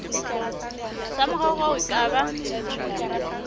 sa moraorao e ka ba